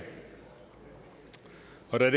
er